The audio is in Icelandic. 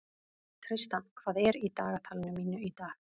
Tristan, hvað er í dagatalinu mínu í dag?